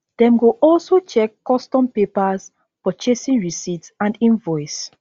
dem go also check custom papers purchasing receipt and invoice